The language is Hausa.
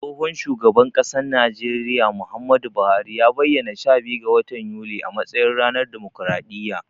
Tsohon shugaban ƙasan najeriya, Muhammadu Buhari ya bayyana sha biyu ga watan yuni a matsayin ranar damokraɗiyya.